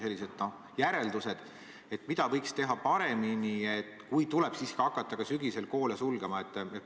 Millised on järeldused, mida võiks teha paremini, kui tuleb siiski hakata ka sügisel koole sulgema?